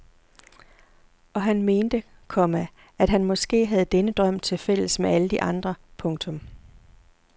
Og han mente, komma at han måske havde denne drøm til fælles med alle de andre. punktum